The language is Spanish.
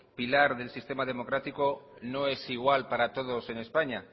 pilar del sistema democrático no es igual para todos en españa